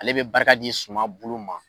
Ale be barika di suman bolo ma.